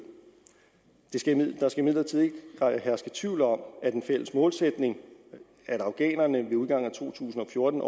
der skal imidlertid ikke herske tvivl om at en fælles målsætning at afghanerne ved udgangen af to tusind og fjorten